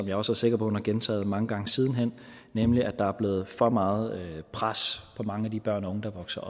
jeg også sikker på hun har gentaget mange gange siden nemlig at der er blevet for meget pres på mange af de børn og unge der vokser